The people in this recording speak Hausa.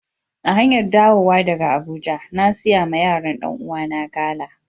A hanyar dawowa daga Abuja, na siya ma yaran Dan uwa na gala.